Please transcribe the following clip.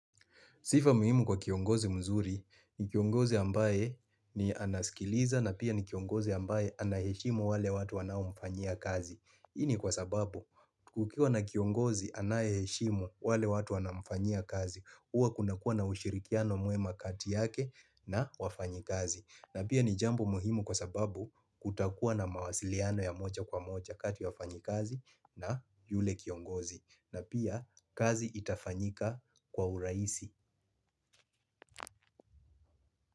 Sifa muhimu kwa kiongozi mzuri, ni kiongozi ambaye ni anasikiliza na pia ni kiongozi ambaye anaheshimu wale watu wanaomfanyia kazi. Hii ni kwa sababu, kukiwa na kiongozi anayeheshimu wale watu wanaomfanyia kazi, huwa kuna kuwa na ushirikiano mwema kati yake na wafanyikazi. Na pia ni jambo muhimu kwa sababu kutakuwa na mawasiliano ya moja kwa moja kati wafanyikazi na yule kiongozi. Na pia kazi itafanyika kwa urahisi.